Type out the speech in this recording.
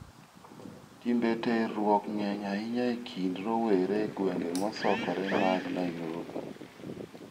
Timbe terruok ng'eny ahinya e kind rowere e gwenge mosokore mag Nairobi.